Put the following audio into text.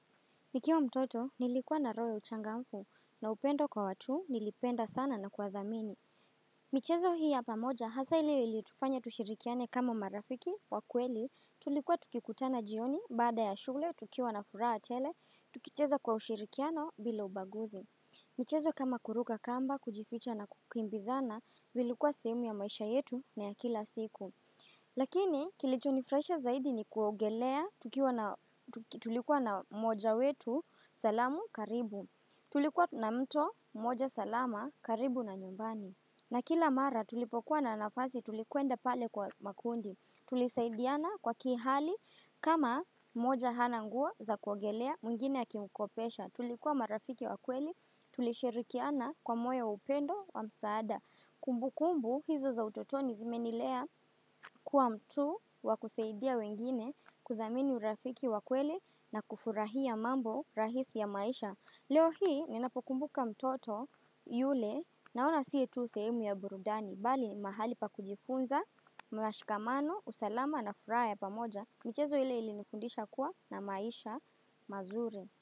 Nikiwa mtoto nilikuwa na roho uchangamfu na upendo kwa watu nilipenda sana na kwa dhamini. Michezo hii ya pamoja hasa ilio iliutufanya tushirikiane kama marafiki wa kweli tulikuwa tukikutana jioni baada ya shule tukiwa na furaha tele tukicheza kwa ushirikiano bila ubaguzi. Michezo kama kuruka kamba kujificha na kukimbizana vilikuwa sehemu ya maisha yetu na ya kila siku. Lakini kilichonifurahisha zaidi ni kuogelea tulikuwa na moja wetu salamu karibu Tulikuwa na mto moja salama karibu na nyumbani na kila mara tulipokuwa na anafasi tulikuenda pale kwa makundi Tulisaidiana kwa kihali kama mmoja hana nguo za kuogelea mwingine akimkopesha Tulikuwa marafiki wa kweli tulishirikiana kwa moja wa upendo wa msaada Kumbu kumbu hizo za utotoni zimenilea kuwa mtu wakusaidia wengine kuthamini urafiki wa kweli na kufurahia mambo rahisi ya maisha. Leo hii ninapokumbuka mtoto yule naona siye tu sehemu ya burudani. Bali mahali pa kujifunza, mwashikamano, usalama na furaha ya pamoja. Michezo ile ilinifundisha kuwa na maisha mazuri.